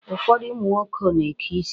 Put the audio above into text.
Ụfọdụ ụmụ nwoke na-eke isi.